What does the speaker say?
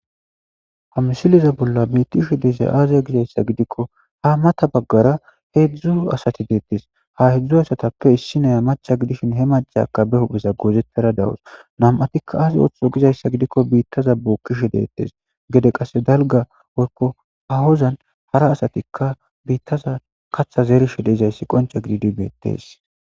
Ha misileza bolla beeththishe de7izay aazee gizayssa gidikko a matha baggara heezzu asathi beeththees; ha heezzu asathappe issi na7iya macca gidishin he maccakka be huuphe goozethara dawus; nam7athikka ay ooththizo uizayssa gidikko biiththasha bookkishe de7eeththes; gede qassi dalgga woykko haahozan hara asathikka biiththaza kaththa zerishe de7izayssi qoncce gididi beeththees.